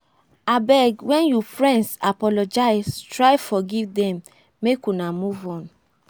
abeg wen you friends apologize try forgive dem make una move on.